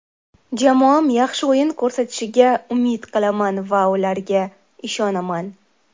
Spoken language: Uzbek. Jamoam yaxshi o‘yin ko‘rsatishiga umid qilaman va ularga ishonaman.